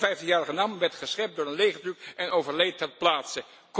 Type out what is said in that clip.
De 56 jarige Nam werd geschept door een legertruck en overleed ter plaatse.